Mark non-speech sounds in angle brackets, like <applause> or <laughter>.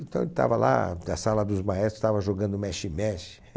Então ele estava lá, na sala dos maestros, jogando mexe-mexe. <laughs>